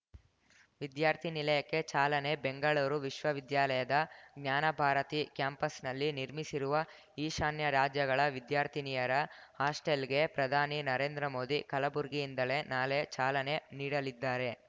ವಿದ್ಯಾರ್ಥಿನಿಲಯಕ್ಕೆ ಚಾಲನೆ ಬೆಂಗಳೂರು ವಿಶ್ವವಿದ್ಯಾಲಯದ ಜ್ಞಾನಭಾರತಿ ಕ್ಯಾಂಪಸ್‌ನಲ್ಲಿ ನಿರ್ಮಿಸಿರುವ ಈಶಾನ್ಯ ರಾಜ್ಯಗಳ ವಿದ್ಯಾರ್ಥಿನಿಯರ ಹಾಸ್ಟೆಲ್‌ಗೆ ಪ್ರಧಾನಿ ನರೇಂದ್ರ ಮೋದಿ ಕಲಬುರಗಿಯಿಂದಲೇ ನಾಳೆ ಚಾಲನೆ ನೀಡಲಿದ್ದಾರೆ